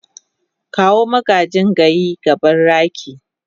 kawo magagin gayi gaban raki.